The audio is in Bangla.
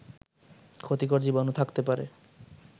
ক্ষতিকর জীবাণু থাকতে পারে